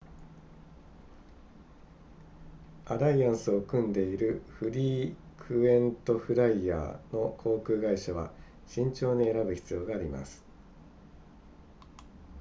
アライアンスを組んでいるフリークエントフライヤーの航空会社は慎重に選ぶ必要があります